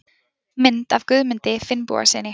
Mynd af Guðmundi Finnbogasyni.